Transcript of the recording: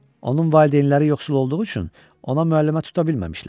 Onun valideynləri yoxsul olduğu üçün ona müəllimə tuta bilməmişlər.